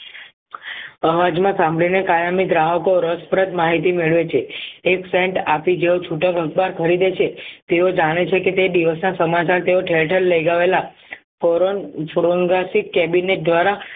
અવાજમાં સાંભળીને કાયમી ગ્રાહકો રસપ્રદ માહિતી મેળવે છે એક પેન્ટ આપી જેવો છુ ખરીદે છે તેઓ જાણે છે કે તે દિવસના સમાચાર તેઓ લગાવેલા દ્વારા